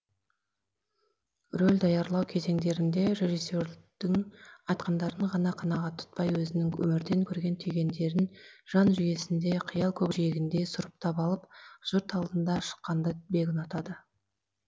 рөл даярлау кезеңдерінде режиссердің айтқандарын ғана қанағат тұтпай өзінің өмірден көрген түйгендерін жан жүйесінде қиял көкжиегінде сұрыптап алып жұрт алдына шыққанды бек ұнатады